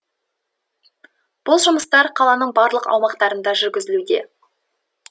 бұл жұмыстар қаланың барлық аумақтарында жүргізілуде